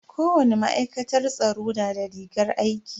Kowani ma'aikatar tsaro na da rigar aiki.